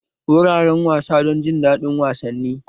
Wuraren wasa don jin daɗin wasanni.